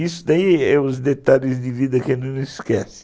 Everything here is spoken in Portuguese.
Isso daí é os detalhes de vida que a gente não esquece.